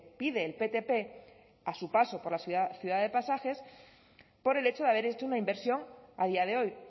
pide el ptp a su paso por la ciudad de pasajes por el hecho de haber hecho una inversión a día de hoy